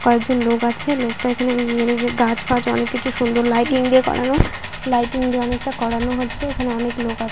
কয়েকজন লোক আছে লোকটা এখানে উম- গাছ ফাজ অনেক কিছু সুন্দর লাইটিং দিয়ে করানো লাইটিং দিয়ে অনেকটা করানো হচ্ছে এখানে অনেক লোক আ--